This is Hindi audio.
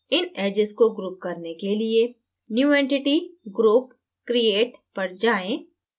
इन edges को group करने के लिए new entity>> group>> create पर जाएँ